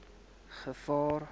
gevaar